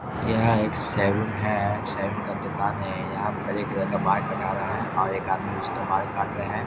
यहाँ एक सैलून है सैलून का दुकान है यहाँ पर एक लड़का बाल कटा रहा है और एक आदमी उसका बाल काट रहे है।